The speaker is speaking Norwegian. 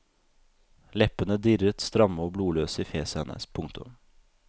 Leppene dirret stramme og blodløse i fjeset hennes. punktum